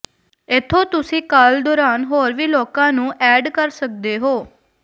ਇੱਥੋਂ ਤੁਸੀਂ ਕਾਲ ਦੌਰਾਨ ਹੋਰ ਵੀ ਲੋਕਾਂ ਨੂੰ ਐਡ ਕਰ ਸਕਦੇ ਹੋ